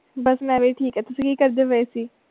ਬਸ ਮੈਂ ਵੀ ਠੀਕ ਹ ਤੁਸੀਂ ਕਿ ਕਰਦੇ ਪਾਏ ਸੀ?